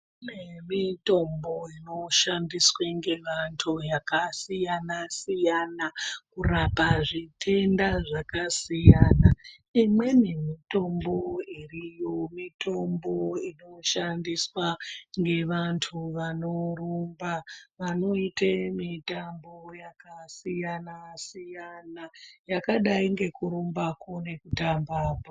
Kune mitombo inoshandiswa ngevantu yakasiyana siyana kurapa zvitenda zvakasiyana. Imweni mitombo uriyo mitombo inoshandiswa ngevantu vanorumba vanoite mitambo yakasiyana siyana yakadai ngekurumbako nekutamba bhora.